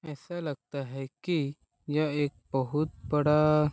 ऐसा लगता है कि यह एक बहुत बड़ा --